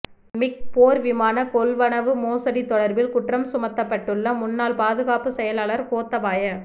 மிக் போர் விமான கொள்வனவு மோசடி தொடர்பில் குற்றம் சுமத்தப்பட்டுள்ள முன்னாள் பாதுகாப்பு செயலாளர் கோத்தபாய